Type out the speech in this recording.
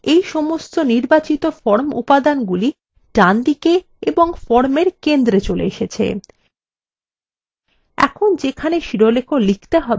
লক্ষ্য করুন এর ফলে এই সমস্ত নির্বাচিত form উপাদানগুলি ডান দিকে এবং formএর centre চলে এসেছে